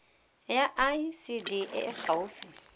ya icd e e gaufi